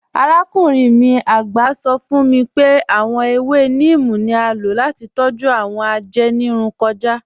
Àràkùnrin mi àgbá sọ̀ fún mí pé awọn èwé níímí ni à ló láti tọ́jú awọn ajẹ́nìrùn kúrò.